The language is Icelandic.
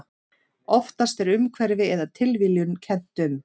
Oftast er umhverfi eða tilviljun kennt um.